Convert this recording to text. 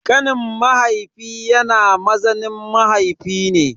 Kanin mahaifi yana mazaunin mahaifi ne.